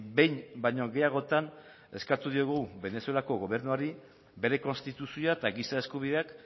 behin baino gehiagotan eskatu diogu venezuelako gobernuari bere konstituzioa eta giza eskubideak